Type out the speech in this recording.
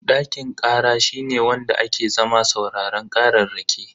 Dakin kara shine wanda ake zama sauraron kararraki.